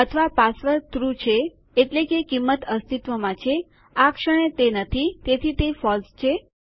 અથવા password true છે એટલે કે કિંમત અસ્તિત્વમાં છે આ ક્ષણે તે નથી તેથી તે ફોલ્સ છે